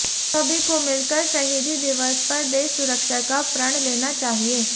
सभी को मिलकर शहीदी दिवस पर देश सुरक्षा का प्रण लेना चाहिए